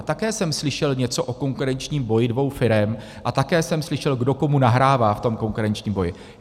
A také jsem slyšel něco o konkurenčním boji dvou firem a také jsem slyšel, kdo komu nahrává v tom konkurenčním boji.